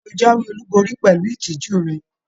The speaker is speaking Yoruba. Ṣe o jáwéolubori pẹlú ìtìjú rẹ?